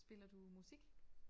Spiller du musik?